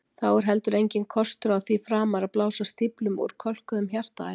Þá er heldur enginn kostur á því framar að blása stíflum úr kölkuðum hjartaæðum.